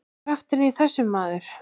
Krafturinn í þessu, maður!